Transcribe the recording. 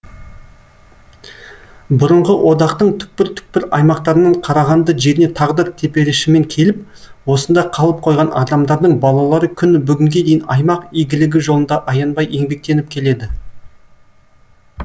бұрынғы одақтың түкпір түкпір аймақтарынан қарағанды жеріне тағдыр теперішімен келіп осында қалып қойған адамдардың балалары күні бүгінге дейін аймақ игілігі жолында аянбай еңбектеніп келеді